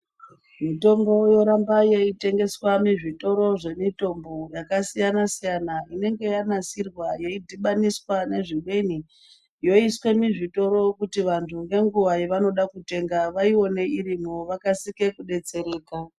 Mitombo yoramba ichitengeswa muzvitoro zvemutambo yakasiyana siyana inenga yanasirwa yeidhibaniswa nezvimweni yoiswa muzvitoro kuti vantu ngenguva yavanode kutenga vaione irimo vakasike kubetsereka .